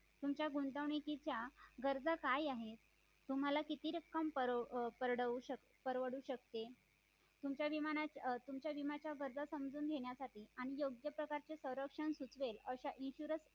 तुमच्या गुंतवणुकीच्या गर्जा काय आहेत तुम्हाला किती रक्कम परवडू शकते तुमच्या विम्याच्या गरजा समजून घेण्यासाठी आणि योग्य प्रकारचे संरक्षण सुचेल अशा insurance